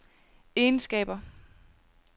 egenskaber